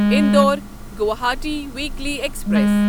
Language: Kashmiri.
Indore Guwahati weekly express